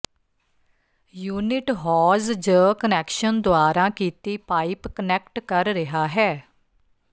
unit hose ਜ connection ਦੁਆਰਾ ਕੀਤੀ ਪਾਈਪ ਕਨੈਕਟ ਕਰ ਰਿਹਾ ਹੈ